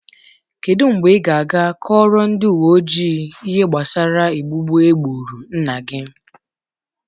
Kedu mgbe ị ga-aga kọọrọ ndị uwe ojii ihe gbasara egbugbu egburu nna gị?